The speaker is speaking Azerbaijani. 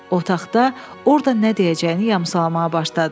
Otaqda orda nə deyəcəyini yamsalamağa başladı.